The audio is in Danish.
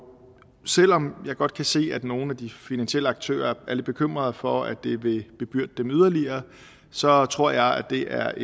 selv om jeg godt kan se at nogle af de finansielle aktører er lidt bekymrede for at det vil bebyrde dem yderligere så tror jeg at det er